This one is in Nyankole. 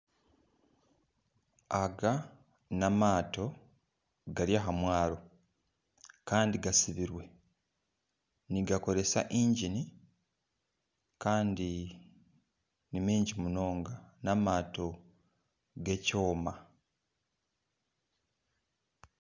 Aga n'amato gari aha mwaro kandi gatsibirwe nigakoresa ingini, kandi ni maingi munonga. N'amato g'ekyoma.